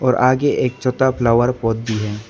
और आगे एक छोटा फ्लावर पॉट भी है।